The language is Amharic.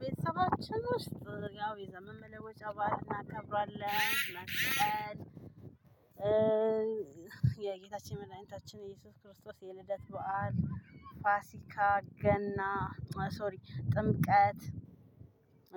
ቤተሰባችን ውስጥ ያው የዘመን መለወጫ በዓል እናከብራለን። መስቀል። የጌታችን መድኃኒታችን ኢየሱስ ክርስቶስ የልደት በዓል። ፋሲካ ገና ሶሪ ጥምቀት።